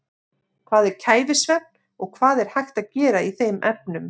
Hvað er kæfisvefn og hvað er hægt að gera í þeim efnum?